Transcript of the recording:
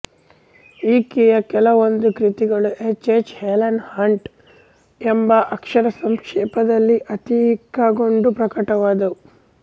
ಈಕೆಯ ಕೆಲವೊಂದು ಕೃತಿಗಳು ಎಚ್ ಎಚ್ ಹೆಲನ್ ಹಂಟ್ ಎಂಬ ಅಕ್ಷರ ಸಂಕ್ಷೇಪದಲ್ಲಿ ಅಂಕಿತಗೊಂಡು ಪ್ರಕಟವಾದುವು